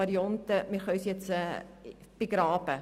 Ich hoffe, dass die Regierung das aufnimmt.